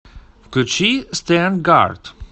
включи стэнгаард